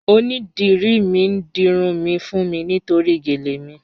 Onídírí n dírun mi fún mi nítorí géle mi.